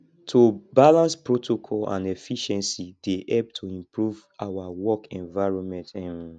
to balance protocol and efficiency dey help to improve our work environment um